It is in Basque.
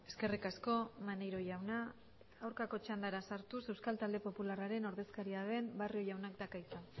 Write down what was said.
eskerrik asko maneiro jauna aurkako txandara sartuz euskal talde popularraren ordezkaria den barrio jaunak dauka hitza